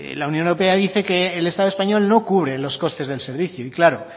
la unión europea dice que el estado español no cubre los costes del servicio y claro